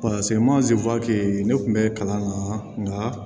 ne tun bɛ kalan na nka